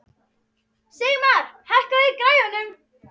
Sigmar, hækkaðu í græjunum.